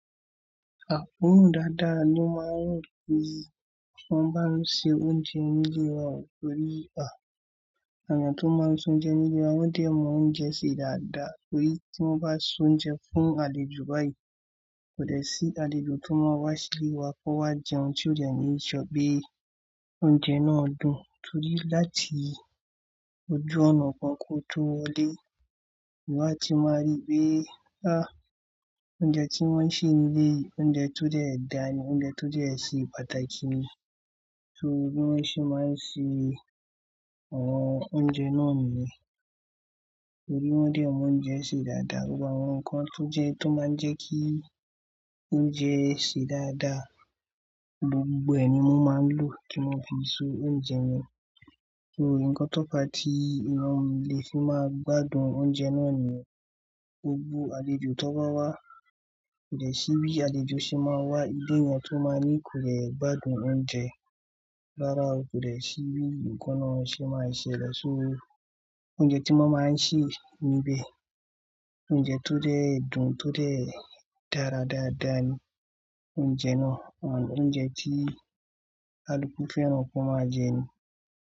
Oòrùn dáadáa ni o máa ń run tí wọ́n bá ń ṣe oúnjẹ nílé wa torí à, àwọn èèyàn tó máa ń ṣe oúnjẹ nílé wa wọ́n dẹ̀ mọ oúnjẹ ṣe dáadáa torí tí wọ́n bá ṣe oúnjẹ fún àlejò báyìí, kò dẹ sí àlejò tó máa wá sílé wa kó wá jẹun tí ò dẹ ní sọ pé Oúnjẹ náà dùn torí láti ojú ọ̀nà gan kó tó wọlé, ìwọ́ àti máa rí pé, à, oúnjẹ tí wọ́n ń ṣe níbí, oúnjẹ tó dẹ̀ dáa ni, oúnjẹ tó dẹ̀ ṣe pàtàkì ni. So bi wọ́n ṣe máa ń ṣe àwọn oúnjẹ náà nìyẹn. Torí wọ́n dẹ̀ mọ oúnjẹ ṣe dáadáa, gbogbo àwọn nǹkan tó jẹ́, tó máa ń jẹ́ kí oúnjẹ ṣe dáadáa, gbogbo ẹ̀ ni wọ́n máa ń lò kí wọ́n fi ṣe oúnjẹ yẹn. So, ǹkan to fa tí èèyàn lè fi máa gbádùn oúnjẹ náà niyẹn, gbogbo àlejò tó bá wá, kò lè sí bí àlejò ṣe máa wá ilé yẹn tó máa ní oun kò dẹ gbádùn oúnjẹ. Rárá o, kò dẹ sí bí ǹkan náà ṣe máa ṣe lẹ̀. So oúnjẹ tí wọ́n máa ń sè níbẹ̀, oúnjẹ tó dẹ̀ dùn, tó dẹ̀ dára dáadáa ni oúnjẹ náà. Òun ni oúnjẹ tí kaluku fẹ́ran kan máa jẹ ni.